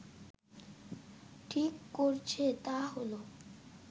ঠিক করেছে তা হলো